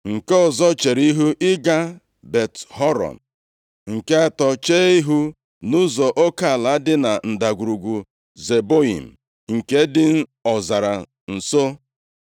nke ọzọ chere ihu ịga Bet-Horon, nke atọ chee ihu nʼụzọ oke ala dị na Ndagwurugwu Zeboiim, nke dị ọzara nso.